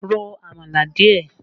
Ro àmàlà díẹ̀!